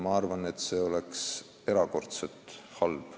Ma arvan, et see oleks Eesti jaoks erakordselt halb.